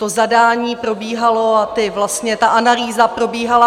To zadání probíhalo a ta analýza probíhala...